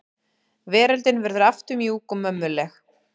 Veröldin verður aftur mjúk og mömmuleg.